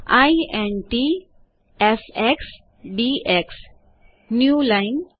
int fx dx newline